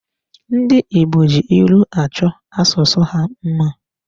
Ndi Igbo ji ịlụ achọ asụsụ ha mma